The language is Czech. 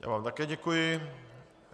Já vám také děkuji.